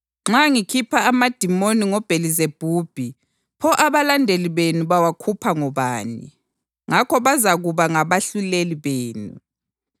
Nxa ngikhupha amadimoni ngoBhelizebhubhi, pho abalandeli benu bawakhupha ngobani? Ngakho bazakuba ngabahluleli benu.